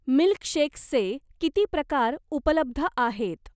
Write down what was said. मिल्कशेक्सचे किती प्रकार उपलब्ध आहेत?